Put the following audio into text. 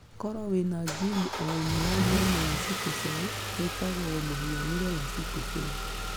Koro wĩna gene o ĩmwe ya mũrimũ wa sickle cell yitagwo mũhianĩre wa sickle cell.